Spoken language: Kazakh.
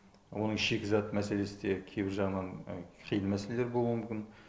оның шикізат мәселесі де кейбір жағынан қиын мәселелер болуы мүмкін